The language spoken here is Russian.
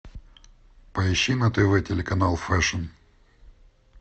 поищи на тв телеканал фэшн